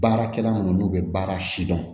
Baarakɛla minnu n'u bɛ baara sidɔn